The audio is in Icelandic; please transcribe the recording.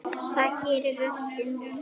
Það gerir röddin.